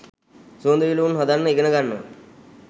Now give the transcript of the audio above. සුවඳ විලවුන් හදන්න ඉගෙන ගන්නවා